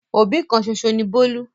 Òbí kan ṣoṣo ni Bólú.